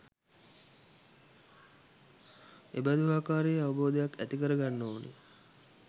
එබඳු ආකාරයේ අවබෝධයක් ඇති කරගන්න ඕන